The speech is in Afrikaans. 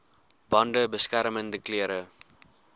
bande beskermende klere